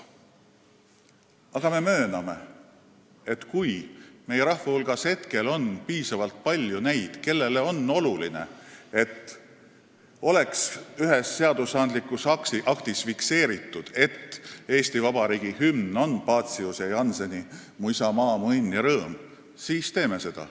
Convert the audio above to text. Aga me mööname, et kui meie rahva hulgas on piisavalt palju neid, kellele on oluline, et ühes seadusandlikus aktis oleks fikseeritud, et Eesti Vabariigi hümn on Paciuse ja Jannseni "Mu isamaa, mu õnn ja rõõm", siis teeme seda.